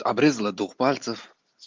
обрезала дух пальцев